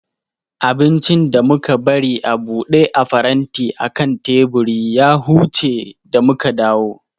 Abincin da muka bari a buɗe a faranti akan teburi ya huce da muka dawu